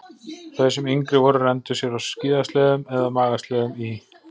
Þau sem yngri voru renndu sér á skíðasleðum eða magasleðum í